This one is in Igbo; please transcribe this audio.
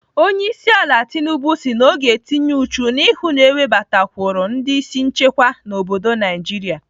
Onyeisiala Tinubu si na ọ ga-etinye uchu na ịhụ na-ewebatakwụrụ ndị isi nchekwa n'obodo Naijiria.